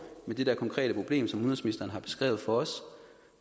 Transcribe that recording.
med det konkrete problem som udenrigsministeren har beskrevet for os